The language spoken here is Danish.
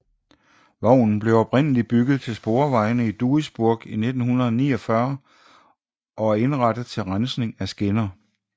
Vognen blev oprindeligt bygget til sporvejene i Duisburg i 1949 og er indrettet til rensning af skinner